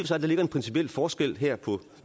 sig der ligger en principiel forskel her på